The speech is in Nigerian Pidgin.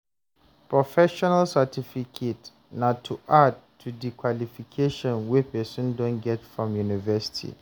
professional certificate na to add to di qualification wey person don get from university